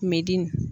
Kun bɛ dimi